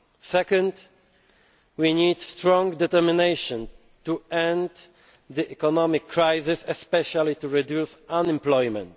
are. Secondly, we need strong determination to end the economic crisis, especially to reduce unemployment.